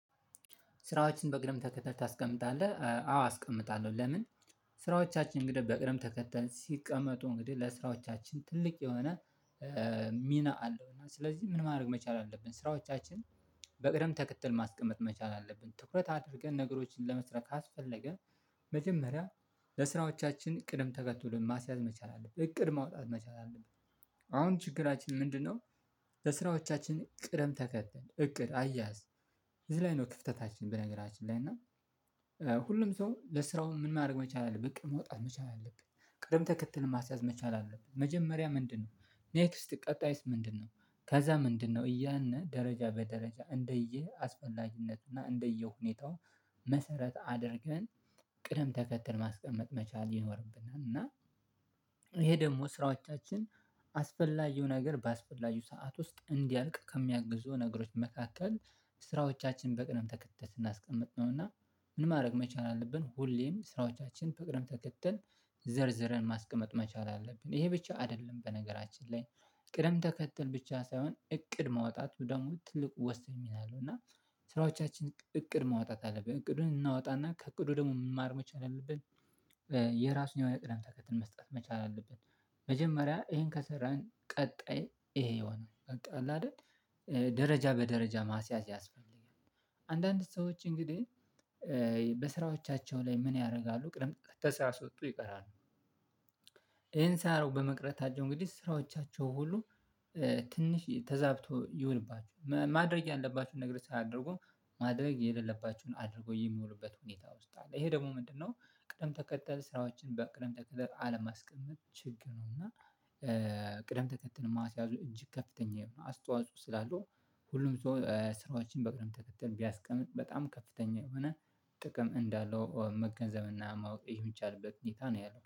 ስራዎችን በቅደም ተከተል ታስቀምጣለህ? አዎ አስቀምጣለሁ ለምን? ስራዎቻችን እንግዴ በቅድም ተከተል ሲቀመጡ እንግዲ ለስራዎቻችን ትልቅ የሆነ እ ሚና አለው። እና ስለዚህ ምን ማድረግ መቻል አለብ? ስራዎቻችን በቅደም ተከተል ማስቀመጥ መቻል አለብን። ትኩረት አድርገን ነገሮችን ለመስራት ካስፈለገ መጀመሪያ ለስራዎቻችን ቅደም ተከተሉን ማስያዝ መቻል አለብን። እቅድ ማውጣት መቻል አለብን። አሁን ችግራችን ምንድነው ለስራዎቻችን ቅደም ተከተል እቅድ፣ አያያዝ። እዚ ላይ ነው ክፍተታችን በነገራችን ላይ እና ሁሉም ሰው ለስራው ምን ማረግ መቻል አለብህ። እቅድ ማውጣት መቻል አለብን። ቅድም ተከተሉን ማስያዝ መቻል አለብን። መጀመሪያ ምንድነው? ኔክስት ቀጣይስ ምንድነው? ከዛ ምንድነው? እያልን ደረጃ በደረጃ እንደየ አስፈላጊነቱና እንደየ ሁኔታው መሰረት አድርገን ቅደም ተከትል ማስቀመጥ መቻል ይኖርብናል። እና ይሄ ደግሞ ስራዎቻችን አስፈላጊው ነገር ባስፈላጊው ሰዓት ውስጥ እንዲያልቅ ከሚያግዙ ነገሮች መካከል ስራዎቻችን በቅደም ተከተል ስናቀምጥ ነው። እና ምን ማድረግ መቻል አለብን? ሁሌም ስራዎቻችን በቅደም ተከተል ዘርዝረን ማስቀመጥ መቻል አለብን። ይሄ ብቻ አደለም በነገራችን ላይ። ቅደም ተከተል ብቻ ሳይሆን፣ እቅድ ማውጣቱ ደግሞ ትልቁ ወሳኝ ሚና አለው እና ስራዎቻችን እ እቅድ ማውጣት አለብን። እቅዱን እናውጣና ከእቅዱ ደግሞ ምንማር መቻል አለብን። የራሱን የሆነ ቅደም ተከተል መስጠት መቻል አለብን። መጀመሪያ እሄን ከሰራን ቀጣይ እሄ ይሆናል። በቃ አለ አደል እ ደረጃ በደረጃ ማስያዝ ያስፈልጋል። አንዳንድ ሰዎች እንግዲህ በስራዎቻቸው ላይ ምን ያረጋሉ ቅድም ተሳስቶ ይቀራሉ። ይሄን ሳያረጉ በመቅረታቸው እንግዲህ ስራዎቻቸው ሁሉ እ ትንሽ ተዛብቶ ይሁንባችሁ። ማድረግ ያለባችሁን ነገር ሳያደርጉ፣ ማድረግ የሌለባችሁን አድርጎ የሚውሉበት ሁኔታ ውስጥ አለ። ይሄ ደግሞ ምንድነው ቅደም ተከተል ስራዎችን በቅደም ተከተል አለማስቀመጥ ችግር ነው። እና ቅደም ተከተል ማስያዙ እጅግ ከፍተኛ አስተዋጽኦ ስላለው ሁሉም ሰው ስራዎችን በቅርብ ተከተል ቢያስቀምጥ በጣም ከፍተኛ የሆነ ጥቅም እንዳለው መገንዘብና ማወቅ የሚቻልበት ሁኔታ ነው ያለው።